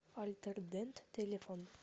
альтердент телефон